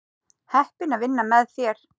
Heppin að vinna með þér.